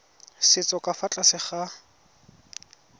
setso ka fa tlase ga